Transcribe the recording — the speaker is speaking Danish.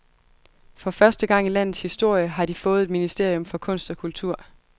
For første gang i landets historie har de fået et ministerium for kunst og kultur.